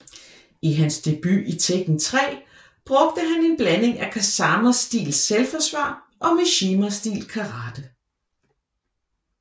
I hans debut i Tekken 3 brugte han en blanding af Kazama stil selvforsvar og Mishima stil Karate